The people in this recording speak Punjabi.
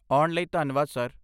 ਆਉਣ ਲਈ ਧੰਨਵਾਦ, ਸਰ।